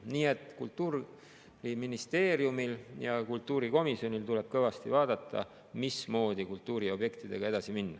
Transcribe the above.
Nii et Kultuuriministeeriumil ja kultuurikomisjonil tuleb kõvasti vaadata, mismoodi kultuuriobjektidega edasi minna.